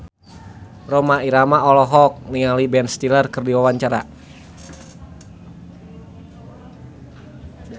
Rhoma Irama olohok ningali Ben Stiller keur diwawancara